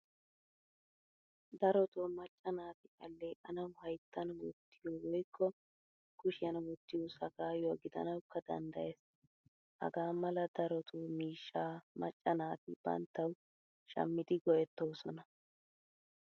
Daroto macca naati alleqanawu hayttan wottiyo woykko kushiyan wottiyo sagayuwaa gidanawukka danddayees. Haga mala daroto miishshaa macca naati banttawu shamidi go'ettosona.